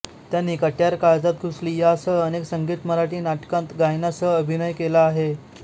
त्यांनी कट्यार काळजात घुसली या सह अनेक संगीत मराठी नाटकांत गायनासह अभिनय केला आहे